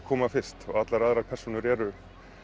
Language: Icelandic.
koma fyrst allar aðrar persónur eru